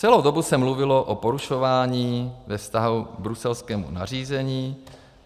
Celou dobu se mluvilo o porušování ve vztahu k bruselskému nařízení.